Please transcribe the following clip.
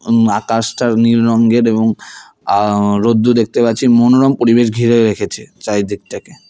উম আকাশটা নীল রঙ্গের এবং আঃ রোদ্দুর দেখতে পাচ্ছি মনোরম পরিবেশ ঘিরে রেখেছে চারিদিকটাকে।